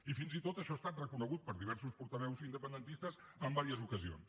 i fins i tot això ha estat reconegut per diversos portaveus independentistes en diverses ocasions